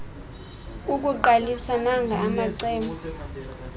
ukukuqalisa nanga amacebo